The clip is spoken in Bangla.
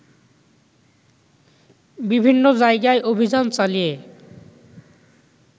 বিভিন্ন জায়গায় অভিযান চালিয়ে